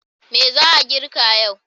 Me za a girka yau?